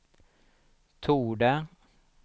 torde